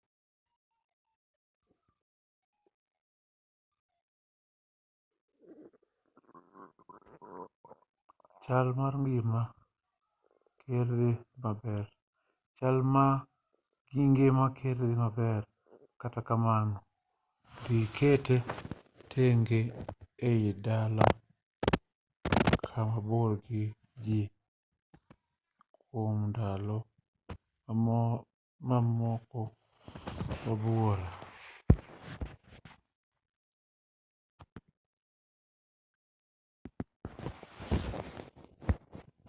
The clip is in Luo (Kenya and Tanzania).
chal mar ngima ker dhi maber kata kamano idhi kete tenge ei dala kama bor gi ji kwom ndalo moko buora